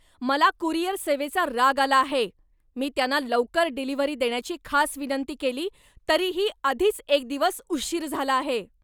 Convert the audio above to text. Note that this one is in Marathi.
मला कुरिअर सेवेचा राग आला आहे. मी त्यांना लवकर डिलीव्हरी देण्याची खास विनंती केली तरीही आधीच एक दिवस उशीर झाला आहे!